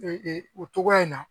o cogoya in na